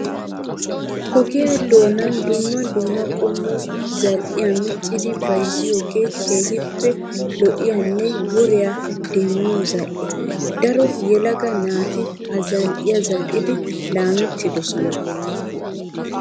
Ogiyaa doonan dumma dumma qommo zal''iyaa miccidi bayizziyoogee keehippe lo''iyaanne woriyaa demmiyoo zal''e. daro yelaga naati ha zal''iyaa zal'idi laamettidosonaa.